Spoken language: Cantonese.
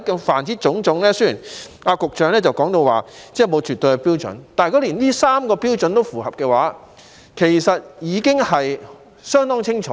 凡此種種，雖然局長說沒有絕對的標準，但如果符合這3個標準，我認為其實已經相當清楚。